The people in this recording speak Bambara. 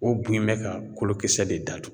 O bun in bɛ ka kolo kisɛ de datugu.